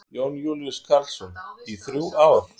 Jón Júlíus Karlsson: Í þrjú ár?